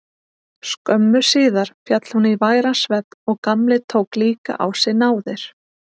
Skömmu síðar féll hún í væran svefn og Gamli tók líka á sig náðir.